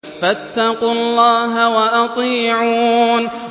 فَاتَّقُوا اللَّهَ وَأَطِيعُونِ